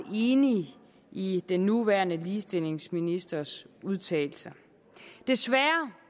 enig i den nuværende ligestillingsministers udtalelser desværre